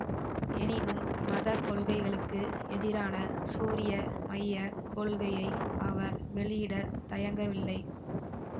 எனினும் மத கொள்கைகளுக்கு எதிரான சூரிய மைய கொள்கையை அவர் வெளியிட தயங்கவில்லை